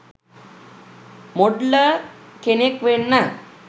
Modeller කෙනෙක් වෙන්න.